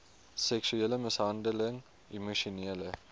seksuele mishandeling emosionele